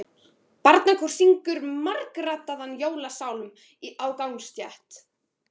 Barnakór syngur margraddaðan jólasálm á gangstétt.